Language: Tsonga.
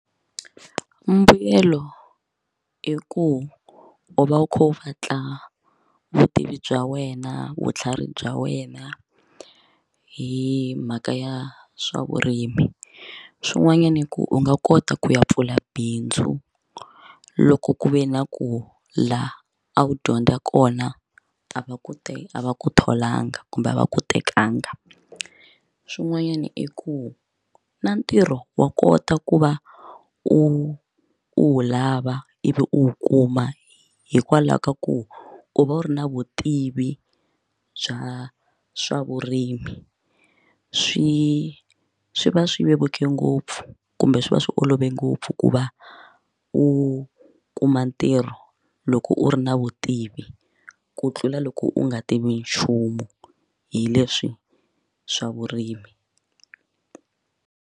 Mbuyelo i ku u va u kha u vatla vutivi bya wena vutlhari bya wena hi mhaka ya swavurimi, swin'wanyana i ku u nga kota ku ya pfula bindzu loko ku ve na ku la a wu dyondza kona a va ku te a va ku tholangi kumbe a va ku tekanga swin'wanyana i ku na ntirho wa kota ku va u u wu lava ivi u wu kuma hikwalaho ka ku u va u ri na vutivi bya swa vurimi swi swi va swi vevuke ngopfu kumbe swi swi olove ngopfu ku va u kuma ntirho loko u ri na vutivi ku tlula loko u nga tivi nchumu hi leswi swavurimi.